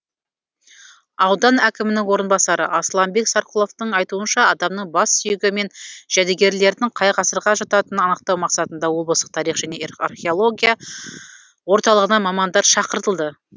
аудан әкімінің орынбасары асланбек сарқұловтың айтуынша адамның бас сүйегі мен жәдігерлердің қай ғасырға жататынын анықтау мақсатында облыстық тарих және археология орталығынан мамандар шақыртылды